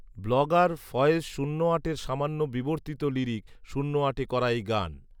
blogger Faiz শূন্য আটের সামান্য বিবর্তিত লিরিক শূন্য আটে করা এই গান